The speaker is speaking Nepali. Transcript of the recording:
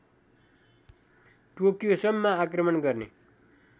टोकियोसम्म आक्रमण गर्ने